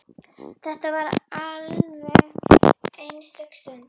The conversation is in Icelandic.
Þetta var alveg einstök stund.